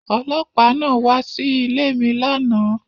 Ọlọ́pàá náà wá Sí ilé mí lànà